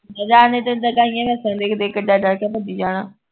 ਨੂੰ ਦੇਖ ਦੇਖ ਕੇ ਡਰ ਡਰ ਕੇ ਭੱਜੀ ਜਾਣਾ